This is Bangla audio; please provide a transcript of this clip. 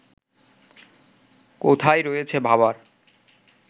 কোথায় রয়েছে ভাবার